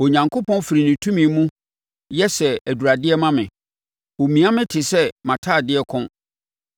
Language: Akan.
Onyankopɔn firi ne tumi mu yɛ sɛ aduradeɛ ma me; ɔmia me te sɛ mʼatadeɛ kɔn.